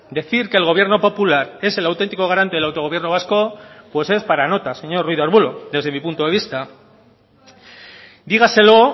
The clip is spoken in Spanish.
decir que el gobierno popular es el auténtico garante del autogobierno vasco pues es para nota señor ruiz de arbulo desde mi punto de vista dígaselo